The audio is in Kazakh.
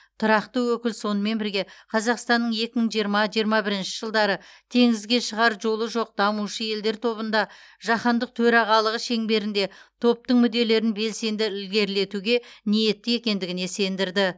тұрақты өкіл сонымен бірге қазақстанның екі мың жиырма екі мың жиырма бірінші жылдары теңізге шығар жолы жоқ дамушы елдер тобында жаһандық төрағалығы шеңберінде топтың мүдделерін белсенді ілгерілетуге ниетті екендігіне сендірді